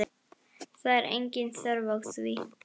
Það er engin þörf á því.